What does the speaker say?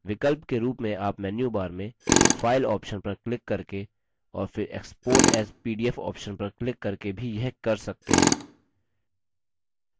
विकल्प के रूप में आप menu bar में file option पर क्लिक करके और फिर export as pdf option पर क्लिक करके भी यह कर सकते हैं